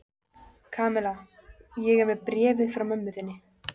Kamilla, ég er með bréfið frá mömmu þinni.